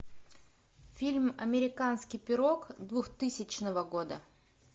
фильм американский пирог двухтысячного года